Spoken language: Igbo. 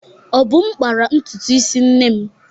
Obum kpara ntutu isi nne m.